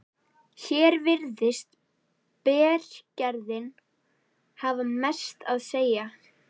Hér virðist berggerðin hafa mest að segja.